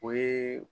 O ye